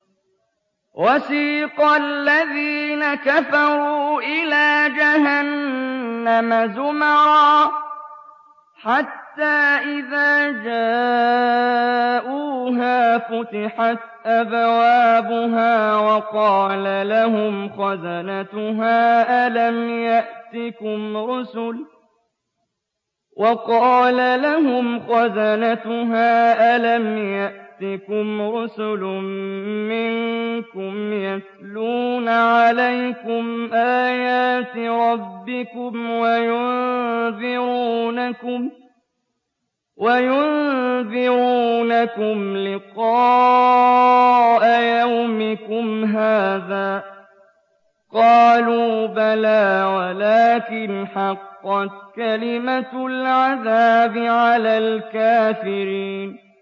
وَسِيقَ الَّذِينَ كَفَرُوا إِلَىٰ جَهَنَّمَ زُمَرًا ۖ حَتَّىٰ إِذَا جَاءُوهَا فُتِحَتْ أَبْوَابُهَا وَقَالَ لَهُمْ خَزَنَتُهَا أَلَمْ يَأْتِكُمْ رُسُلٌ مِّنكُمْ يَتْلُونَ عَلَيْكُمْ آيَاتِ رَبِّكُمْ وَيُنذِرُونَكُمْ لِقَاءَ يَوْمِكُمْ هَٰذَا ۚ قَالُوا بَلَىٰ وَلَٰكِنْ حَقَّتْ كَلِمَةُ الْعَذَابِ عَلَى الْكَافِرِينَ